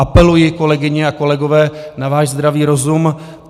Apeluji, kolegyně a kolegové, na váš zdravý rozum.